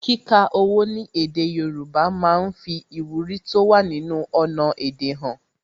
Kíka owó ní èdè Yorùbá máa ń fi ìwúrí tó wà nínú ọnà èdè han